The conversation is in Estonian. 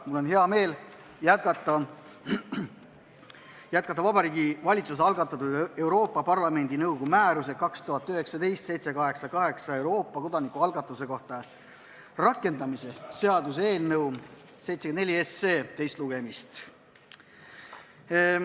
Mul on hea meel jätkata Vabariigi Valitsuse algatatud Euroopa Parlamendi nõukogu määruse 2019/788 "Euroopa kodanikualgatuse kohta" rakendamise seaduse eelnõu 74 teist lugemist.